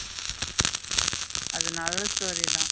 அது நல்ல story தா.